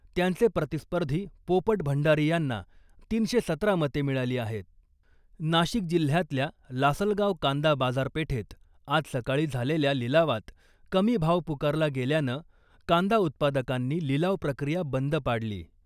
त्यांचे प्रतिस्पर्धी पोपट भंडारी यांना तीनशे सतरा मते मिळाली आहे. नाशिक जिल्ह्यातल्या लासलगाव कांदा बाजारपेठेत आज सकाळी झालेल्या लिलावात कमी भाव पुकारला गेल्यानं , कांदा उत्पादकांनी लिलाव प्रक्रीया बंद पाडली.